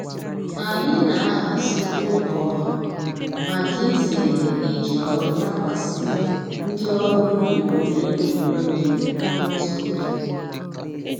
Anyị na-ahazi oge ọrụ maka izere iji ọrụ dakwasị ndị ọrụ ubi ole na ole dịnụ n'otu oge